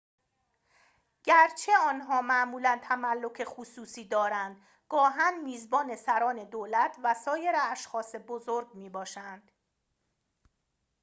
گرچه آنها معمولاً تملک خصوصی دارند گاهاً میزبان سران دولت و سایر اشخاص بزرگ می‌باشند